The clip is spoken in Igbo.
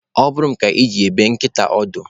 Ọ bụrụ m ka eji ebe nkịta ọdụ.